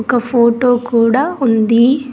ఒక ఫోటో కూడా ఉంది.